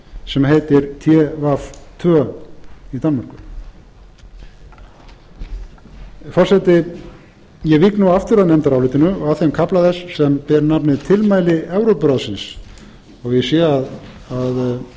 sem beita tv tvö í danmörku forseti ég vík nú aftur að nefndarálitinu og að þeim kafla þess sem ber nafnið tilmæli evrópuráðsins ég sé að félagar mínir